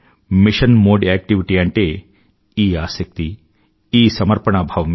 machine mode activity అంటే ఈ ఆసక్తి ఈ సమర్పణా భావమే